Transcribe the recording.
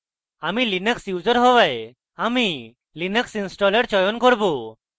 আমি linux user হওয়ায় আমি linux installer চয়ন করব